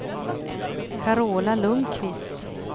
Carola Lundkvist